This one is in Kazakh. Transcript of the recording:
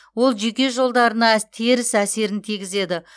ол жүйке жолдарына теріс әсерін тигізеді